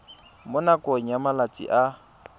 mo nakong ya malatsi a